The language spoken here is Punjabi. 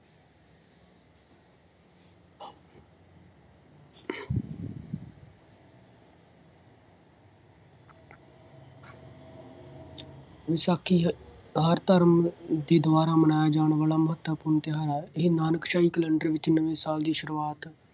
ਵਿਸਾਖੀ ਹ~ ਹਰ ਧਰਮ ਦੇ ਦੁਆਰਾ ਮਨਾਇਆ ਜਾਣ ਵਾਲਾ ਮਹੱਤਵਪੂਰਨ ਤਿਉਹਾਰ ਹੈ। ਇਹ ਨਾਨਕਸ਼ਾਹੀ ਕੈਲੰਡਰ ਵਿੱਚ ਨਵੇਂ ਸਾਲ ਦੀ ਸ਼ੁਰੂਆਤ